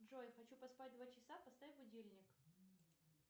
джой хочу поспать два часа поставь будильник